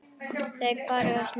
Það er farið að snjóa.